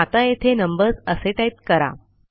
आता येथे नंबर्स असे टाईप करा